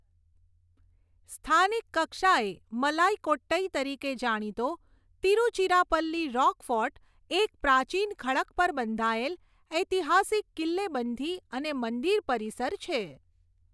સ્થાનિક કક્ષાએ મલાઇકોટ્ટઈ તરીકે જાણીતો તિરુચિરાપલ્લી રૉકફોર્ટ એક પ્રાચીન ખડક પર બંધાયેલ ઐતિહાસિક કિલ્લેબંધી અને મંદિર પરિસર છે.